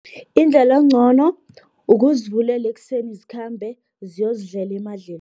Indlela engcono, ukuzivulela ekuseni zikhambe, ziyozidlela